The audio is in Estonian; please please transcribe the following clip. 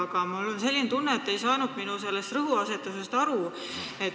Aga mul on selline tunne, et te ei saanud minu rõhuasetusest aru.